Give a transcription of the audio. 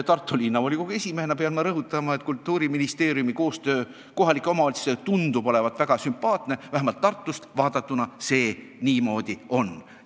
Tartu Linnavolikogu esimehena pean rõhutama, et Kultuuriministeeriumi koostöö kohalike omavalitsustega tundub olevat väga sümpaatne, vähemalt Tartust vaadatuna see niimoodi paistab.